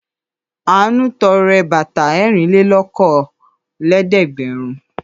Àánú tọrẹ bàtà ẹrìnlélókòólẹ́ẹ̀dẹ́gbẹ̀rún.